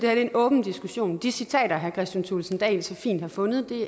er en åben diskussion de citater herre kristian thulesen dahl så fint har fundet